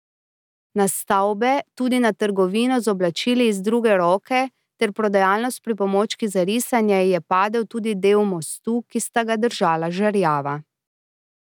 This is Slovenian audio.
Na stavbe, tudi na trgovino z oblačili iz druge roke ter prodajalno s pripomočki za risanje, je padel tudi del mostu, ki sta ga držala žerjava.